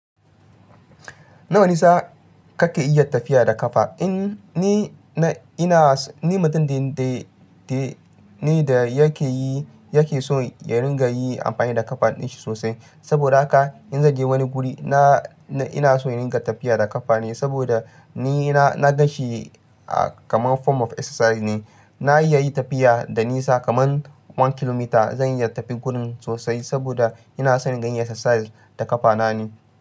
Nawa nisa ka ke iya tafiya da kafa? Ni na, ina, ni mutum da, da, ni da yake yi, yake so ya ringa yi amfani da kafa din shi sosai. Saboda haka in zai je wani guri, na, ina so in ringa tafiya da kafa ne saboda ni na, na gan shi kamar form of exercise ne. Na iya yi tafiya da nisa kamar one kilomita. Zan iya tafi gurin sosai saboda ina son yin exercise da kafa na ne.